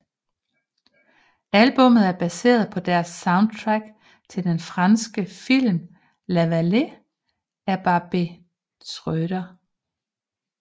Albummet er baseret på deres soundtrack til den franske film La Vallée af Barbet Schroeder